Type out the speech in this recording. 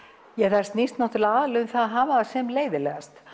það snýst aðallega um að hafa það sem leiðinlegast